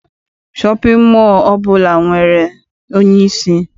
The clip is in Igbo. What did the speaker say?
Shọpịn mọọ ọbụla nwere onyeisi.